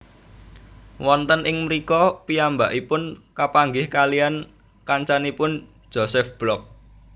Wonten ing mrika piyambakipun kapanggih kaliyan kancanipun Josef Block